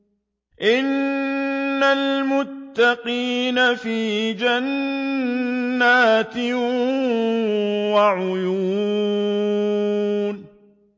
إِنَّ الْمُتَّقِينَ فِي جَنَّاتٍ وَعُيُونٍ